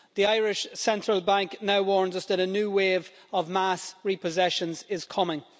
The Irish Central Bank now warns us that a new wave of mass repossessions is coming.